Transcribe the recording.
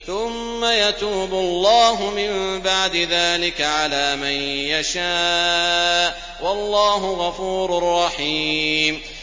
ثُمَّ يَتُوبُ اللَّهُ مِن بَعْدِ ذَٰلِكَ عَلَىٰ مَن يَشَاءُ ۗ وَاللَّهُ غَفُورٌ رَّحِيمٌ